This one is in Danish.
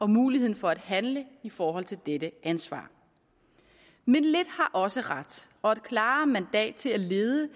muligheden for at handle i forhold til dette ansvar men lidt har også ret og et klarere mandat til at lede